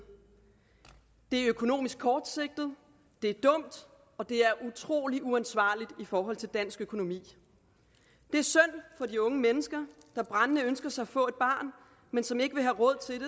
det er økonomisk kortsigtet det er dumt og det er utrolig uansvarligt i forhold til dansk økonomi det er synd for de unge mennesker der brændende ønsker sig at få et barn men som ikke vil have råd til